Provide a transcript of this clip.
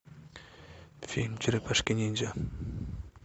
фильм черепашки ниндзя